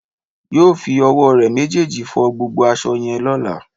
Yóò fi owó re méjèèjì fo gbogbo aso yẹn lóla